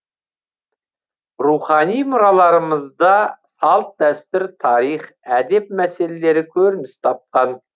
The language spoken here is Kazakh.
рухани мұраларымызда салт дәстүр тарих әдеп мәселелері көрініс тапқан